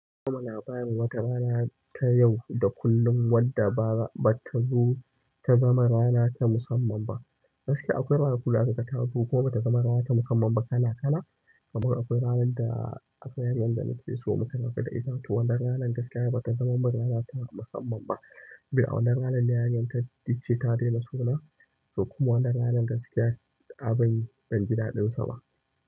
Kuma labarin watarana ta yau da kullum wadda ba, ba ta zo ta zama rana ta musamman ba. Gaskiya akwai ranaku da aka kuma bata zama rana ta musamman ba kala kala. Kaman akwai ranan da akwai yarinyar da nake so muka rabu da ita, to wannan ranan gaskiya bata zama mun ta musamman ba. A wannan ranar ne yayar ta ce ta daina so na, to kuma wannan ranar gaskiya abin banji daɗin sa ba.